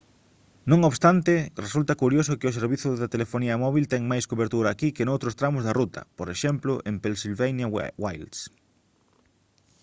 non obstante resulta curioso que o servizo de telefonía móbil ten máis cobertura aquí que noutros tramos da ruta por exemplo en pennsylvania wilds